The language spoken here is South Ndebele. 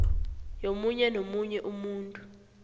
yomunye nomunye umuntu